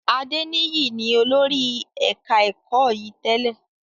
Adeniyi ni olórí ẹ̀ka ẹ̀kọ́ yìí tẹ́lẹ̀